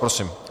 Prosím.